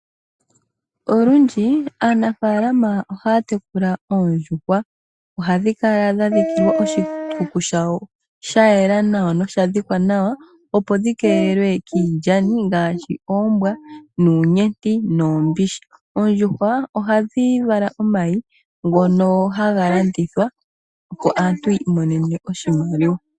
Olundji aanafaalama ohaya tekula oondjuhwa. Ohadhi kala dha dhikilwa oshikuku shawo sha yela nosha dhikwa nawa opo dhi keelelwe kiilyani ngaashi oombwa, uunyenti noombishi. Oondjuhwa ohadhi vala omayi ngono haga landithwa opo aantu yiimonene oshimaliwa.